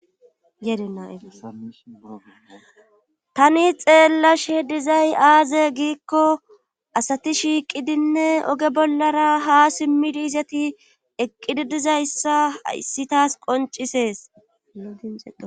Yedenaytani xeellash he dizay aaze giikko asati shiiqidinne oge bollara ha simmidi izati eqqididizayssa issi taas qonciseesdie